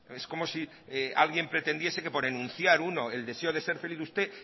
es como si alguien pretendiese que por enunciar uno el deseo de ser feliz usted